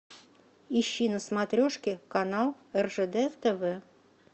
ищи на смотрешке канал ржд тв